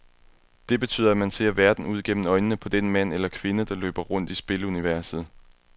Det betyder, at man ser verden ud gennem øjnene på den mand eller kvinde, der løber rundt i spiluniverset.